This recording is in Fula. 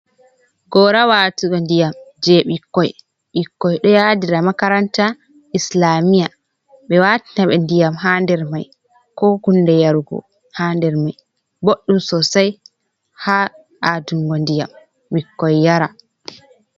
Gora watugo ndiyam je bikkoi, ɓikkoi ɗo yadira makaranta, islamiya, ɓe watinaɓe ndiyam ha der mai, ko hunde yarugo ha nder mai, boɗɗum sosei ha adingo ndiyam bikkoi yara.